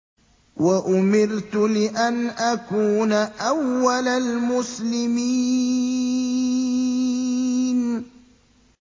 وَأُمِرْتُ لِأَنْ أَكُونَ أَوَّلَ الْمُسْلِمِينَ